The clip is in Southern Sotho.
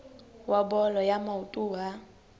wa bolo ya maoto wa